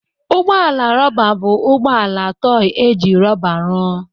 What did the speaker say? Ụgbọ ala rọba bụ ụgbọ ala tọị e ji rọba rụọ.